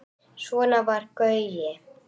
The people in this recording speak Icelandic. Svona var Gaui.